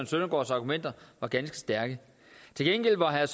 søndergaards argumenter var ganske stærke til gengæld var herre